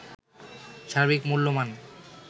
সার্বিক মূল্যমান